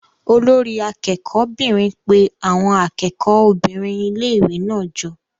Olori akẹ́kọ̀ọ́ 'bìnrin pe àwọn akẹ́kọ̀ọ́ obìnrin ilé-ìwé náà jọ.